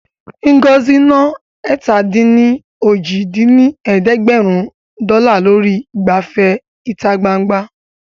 Ngozi ná ẹ̀ta-dín-ní-ojì dín ní ẹ̀ẹ́dẹ́gbẹ́rún dọ́là lórí ìgbafẹ́ ìta gbangba